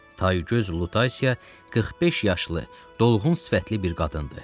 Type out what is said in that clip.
Taygöz Lutasiya 45 yaşlı, dolğun sifətli bir qadındı.